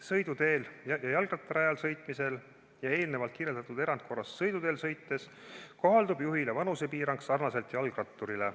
Sõiduteel ja jalgrattarajal sõitmisel ja eelnevalt kirjeldatud erandkorras sõiduteel sõites kohaldub juhile vanusepiirang, mis kohaldub ka jalgratturile.